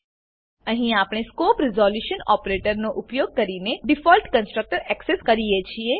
અહીં આપણે scope resolution operator ઉપયોગ કરીને ડીફોલ્ટ કન્સ્ટ્રકટર એક્સેસ કરીએ છીએ